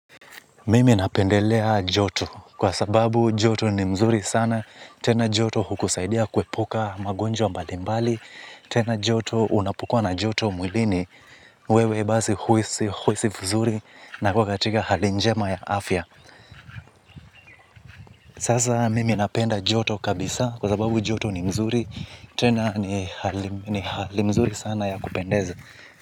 Mimi napendelea joto, kwa sababu joto ni mzuri sana, tena joto hukusaidia kuepuka magonjwa mbali mbali, tena joto unapokuwa na joto mwilini, wewe basi huhisi, huhisi vizuri, na uko katika hali njema ya afya. Sasa mimi napenda joto kabisa kwa sababu joto ni mzuri, tena ni hali mzuri sana ya kupendeza.